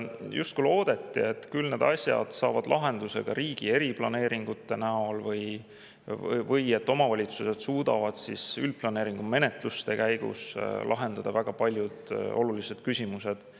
Justkui loodeti, et küll need asjad saavad lahenduse riigi eriplaneeringute näol või et omavalitsused suudavad üldplaneeringu menetluste käigus lahendada väga paljud olulised küsimused.